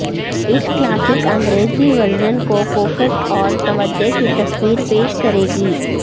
اس classic انگریزی version کو کوکٹ اور توجہ کی تصویر پیش کرے گی